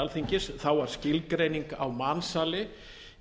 alþingis var skilgreining á mansali